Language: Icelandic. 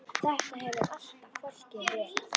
Þetta hefur alltaf fálki verið.